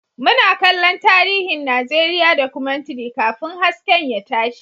Muna kallon tarihin Najeriya Documentary kafin hasken ya tashi